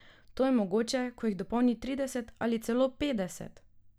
To je mogoče, ko jih dopolni trideset ali celo petdeset.